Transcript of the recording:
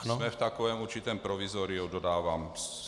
Jsme v takovém určitém provizoriu, dodávám.